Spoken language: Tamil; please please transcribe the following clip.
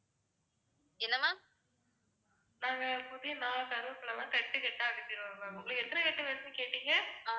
ma'am நாங்க புதினா, கருவேப்பிலலாம் கட்டுக்கட்டா அனுப்பிருவோம் ma'am. உங்களுக்கு எத்தனை கட்டு வேணும்னு கேட்டிங்க.